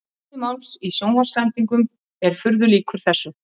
Kjarni máls í sjónvarpssendingum er furðu líkur þessu.